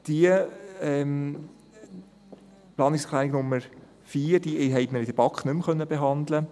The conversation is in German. Die Planungserklärung Nummer 4, BDP/Riem, konnten wir in der BaK nicht mehr behandeln.